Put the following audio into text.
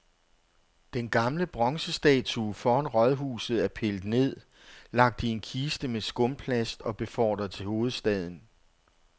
Den gamle bronzestatue foran rådhuset er pillet ned, lagt i en kiste med skumplast og befordret til hovedstaden.